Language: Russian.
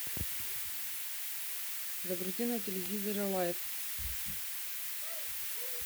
загрузи на телевизоре лайф